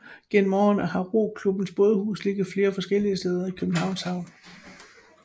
Gennem årene har roklubbens bådehus ligget flere forskellige steder i Københavns Havn